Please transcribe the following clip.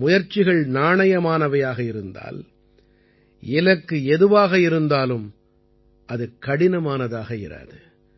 முயற்சிகள் நாணயமானவையாக இருந்தால் இலக்கு எதுவாக இருந்தாலும் அது கடினமானதாக இராது